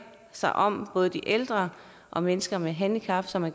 sig om både de ældre og mennesker med handicap som er